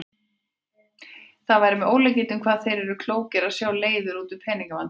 Það væri með ólíkindum hvað þeir væru klókir að sjá leiðir út úr pening- vandræðum.